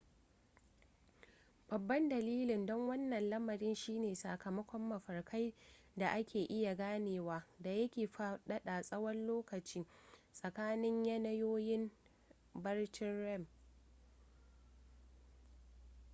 babban dalilin don wannan lamarin shi ne sakamakon mafarkai da ake iya ganewa da yake faɗaɗa tsawon lokacin tsakanin yanayoyin barcin rem